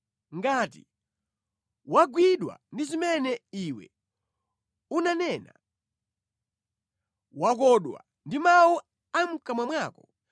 ngati wagwidwa ndi zimene iwe unanena, wakodwa ndi mawu a mʼkamwa mwako.